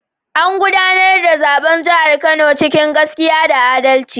An gudanar da zaben jihar Kano cikin gaskiya da adalci.